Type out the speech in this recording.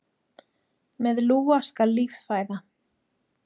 Með lúa skal líf fæða.